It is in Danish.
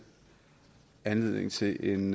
anledning til en